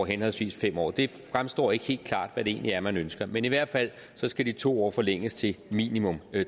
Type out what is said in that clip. henholdsvis fem år det fremstår ikke helt klart hvad det egentlig er man ønsker men i hvert fald skal de to år forlænges til minimum